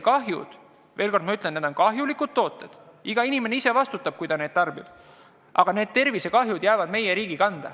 Jah, ma veel kord ütlen, et need on kahjulikud tooted ja iga inimene ise vastutab, kui ta neid tarbib, aga tervisekahjud jäävad ikkagi meie riigi kanda.